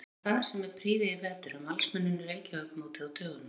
Hefur staðið sig með prýði í vetur en Valsmenn unnu Reykjavíkurmótið á dögunum.